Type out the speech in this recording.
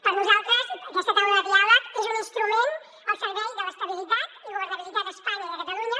per nosaltres aquesta taula de diàleg és un instrument al servei de l’estabilitat i governabilitat a espanya i a catalunya